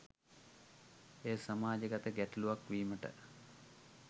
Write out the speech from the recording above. එය සමාජගත ගැටලුවක් වීමට